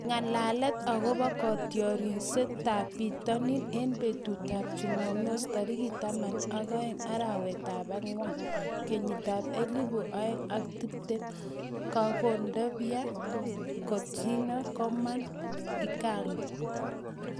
Ng'alalet akobo kotiorsetab bitonin eng betutab Jumamos tarik taman ak agenge, arawetab ang'wan, kenyitab elebu oeng ak tiptem:Kondogbia, Coutinho, Coman, Ighalo